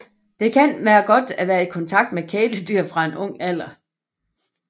Det kan være godt at være i kontakt med kæledyr fra en ung alder